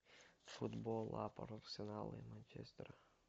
футбол апл арсенал и манчестер